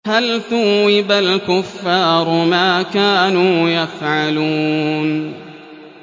هَلْ ثُوِّبَ الْكُفَّارُ مَا كَانُوا يَفْعَلُونَ